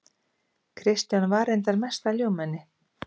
Kristján var reyndar mesta ljúfmenni.